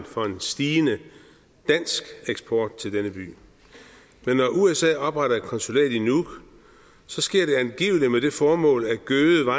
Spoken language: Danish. for en stigende dansk eksport til denne by men når usa opretter et konsulat i nuuk sker det angiveligt med det formål at gøde